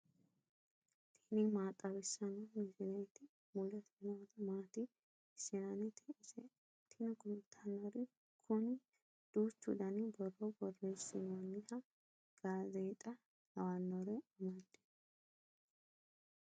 tini maa xawissanno misileeti ? mulese noori maati ? hiissinannite ise ? tini kultannori kuni duuchu dani borro borreessinoonnihaa gaazeexa lawannore amadino .